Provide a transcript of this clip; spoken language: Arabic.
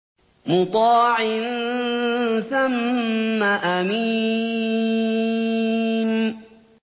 مُّطَاعٍ ثَمَّ أَمِينٍ